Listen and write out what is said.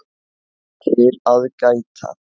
TIL AÐ GÆTA